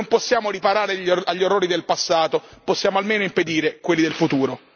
Se non possiamo riparare agli errori del passato possiamo almeno impedire quelli del futuro.